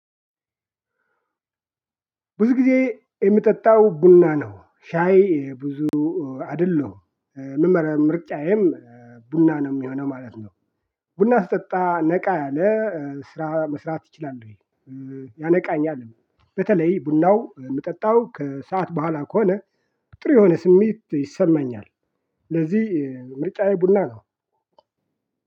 ብዙ ጊዜ የሚጠጣው ቡና ነው። ሻይ ብዙ አይደለሁም። ምርጫዬም ቡና ነው የሚሆነው ማለት ነው። ቡና ስጠጣ ነቃ ያለ ስራ መስራት ይችላል። ያነቃኛልም። በተለይ ቡናው የምጠጣው ከሰአት በኋላ ከሆነ ጥር የሆነ ስሜት ይሰማኛል። ለዚህ ምርጫዬ ቡና ነው።